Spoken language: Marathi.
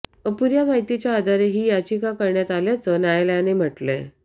अपुऱ्या माहितीच्या आधारे ही याचिका करण्यात आल्याचं न्यायालयानं म्हटलंय